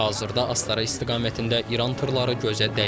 Hazırda Astara istiqamətində İran tırları gözə dəymir.